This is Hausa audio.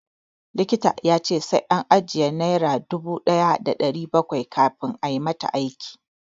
Likita ya ce sai an ajiye naira dubu ɗaya da ɗari bakwai kafin ayi mata aiki.